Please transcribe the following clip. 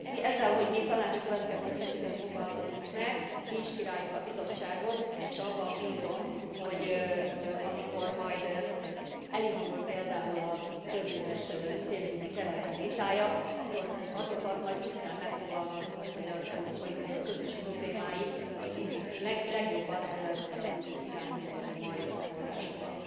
Ezzel, hogy mi tanácsi következtetéseket fogalmazunk meg, inspiráljuk a Bizottságot, és abban bízom, hogy amikor majd elindul például a többéves pénzügyi keretterv vitája, akkor azokat majd úgy kell megfogalmaznunk, hogy az Európai Unió közös problémáit, azt legjobban ezekre tudjuk irányítani majd a forrásokat.